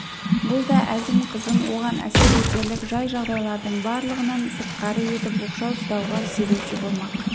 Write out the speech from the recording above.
бұл да әзім қызын оған әсер етерлік жай-жағдайлардың барлығынан сыртқары етіп оқшау ұстауға себепші болмақ